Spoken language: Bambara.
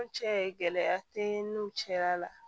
Cɛ gɛlɛya tɛ n'u cɛla la